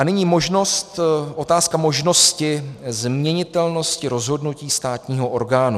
A nyní otázka možnosti změnitelnosti rozhodnutí státního orgánu.